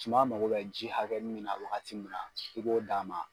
Suma mago bɛ ji hakɛ min na wagati min na i b'o d'a ma.